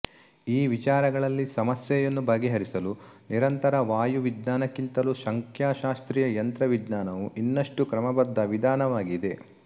ಈ ವಿಚಾರಗಳಲ್ಲಿ ಸಮಸ್ಯೆಯನ್ನು ಬಗೆಹರಿಸಲು ನಿರಂತರ ವಾಯುವಿಜ್ಞಾನಕ್ಕಿಂತಲೂ ಸಂಖ್ಯಾಶಾಸ್ತ್ರೀಯ ಯಂತ್ರವಿಜ್ಞಾನವು ಇನ್ನಷ್ಟು ಕ್ರಮಬದ್ಧ ವಿಧಾನವಾಗಿದೆ